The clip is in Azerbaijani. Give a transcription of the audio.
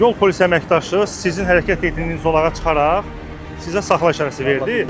Yol polisi əməkdaşı sizin hərəkət etdiyiniz zolağa çıxaraq sizə saxla işarəsi verdi.